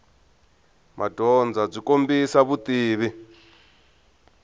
madyondza byi kombisa vutivi